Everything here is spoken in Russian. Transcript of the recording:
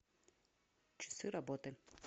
часы работы